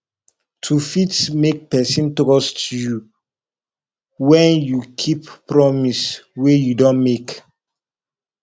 to fit make person trust you when you keep promise wey you don make